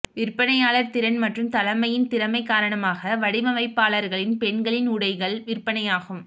விற்பனையாளர் திறன் மற்றும் தலைமையின் திறமை காரணமாக வடிவமைப்பாளர்களின் பெண்களின் உடைகள் விற்பனையாகும்